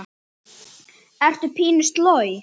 Ertu pínu sloj?